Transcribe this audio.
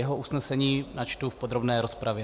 Jeho usnesení načtu v podrobné rozpravě.